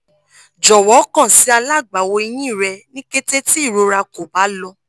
jọwọ kan si alagbawo ehin rẹ ni kete ti irora ko ba lọ